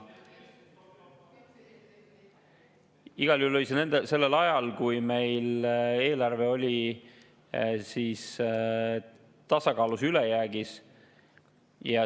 Igal juhul oli sellel ajal, kui meil eelarve oli tasakaalus ja ülejäägis.